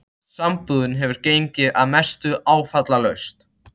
Sambúðin hefur gengið að mestu áfallalaust.